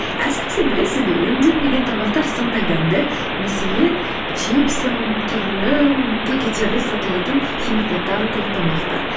әсіресе білесіз бе өңделмеген тамақтар сондай дәмді мәселен чипсы түрлі пакеттерде сатылатын химикаттары көп тамақтар